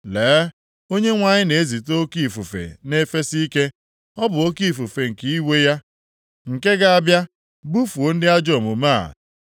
Lee, Onyenwe anyị na-ezite oke ifufe na-efesi ike, ọ bụ oke ifufe nke iwe ya, nke ga-abịa bufuo ndị ajọ omume a.